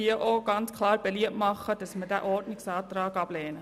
Deshalb möchte ich ebenfalls klar beliebt machen, diesen Ordnungsantrag abzulehnen.